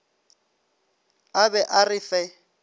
a be a re fe